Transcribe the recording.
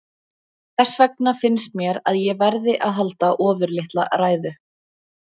Þess vegna finnst mér að ég verði að halda ofurlitla ræðu.